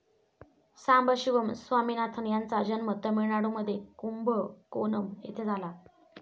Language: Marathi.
सांबशिवम स्वामीनाथन यांचा जन्म तमिळनाडूमध्ये कुंभकोणम येथे झाला.